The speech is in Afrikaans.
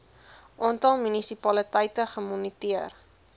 aantal munisipaliteite gemoniteer